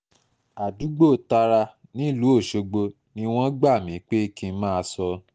àdúgbò tara nílùú ọ̀ṣọ́gbó ni wọ́n gbà mí pé kí n máa sọ